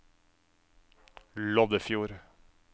Loddefjord